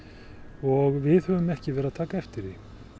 og við höfum ekki verið að taka eftir því